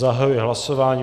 Zahajuji hlasování.